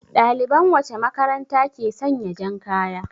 Ɗaliban wacce makaranta ke sanya jan kaya?